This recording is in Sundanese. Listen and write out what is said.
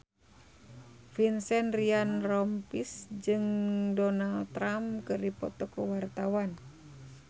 Vincent Ryan Rompies jeung Donald Trump keur dipoto ku wartawan